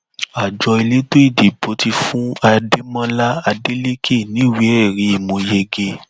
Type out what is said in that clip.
àjọ elétò ìdìbò ti fún adémọlá adélèké níwèéẹrí mọ yege